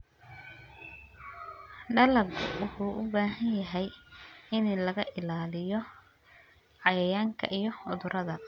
Dalaggu wuxuu u baahan yahay in laga ilaaliyo cayayaanka iyo cudurrada.